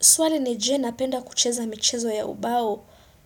Swali ni je napenda kucheza michezo ya ubao?